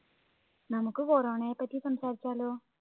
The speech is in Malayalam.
നമ്മുക്ക് corona യെ പറ്റി സംസാരിച്ചാലോ